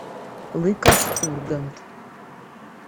лыков ургант